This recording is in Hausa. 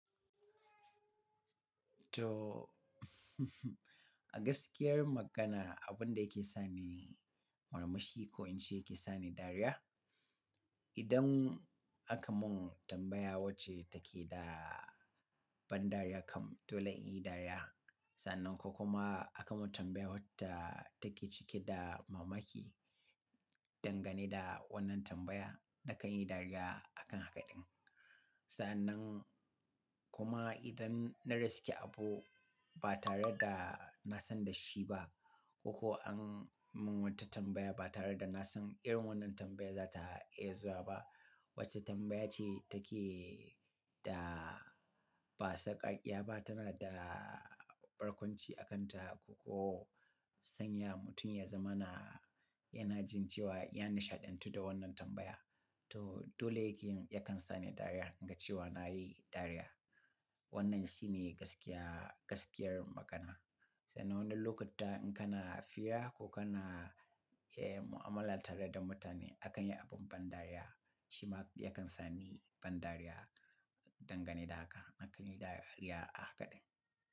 To, a gaskiyar magana abin da yake sa ni murmushi ko in ce yake sa ni dariya, idan aka mun tambaya wacce take da ban dariya kam dole in yi dariya. Sannan ko kuma aka mun tambaya wadda take cike da mamaki, dangane da wannan tambaya da kan yi dariya akan hakaɗin. Sannan kuma idan na riske abu ba tare da na san da shi ba ko an mun wata tambaya ba tare da na san irin wannan tambaya za ta iya zuwa ba, wacce tambaya ce take da ba sakarƙiya ba, tana da barkwanci a kanta ko sanya mutum ya zama na, yana jin cewa ya nishaɗantu da wannan tambaya. To, dole yake yakan sa ni dariya, naga cewa na yi dariya. Wannan shi ne gaskiya, gaskiyar magana. Sannan wannan lokuta in kana fiya ko kana, eh, mu'amala tare da mutane akan yi abin ban dariya, shi ma yakan sa ni ban dariya dangane da haka, nakan yi dariya a hakaɗin.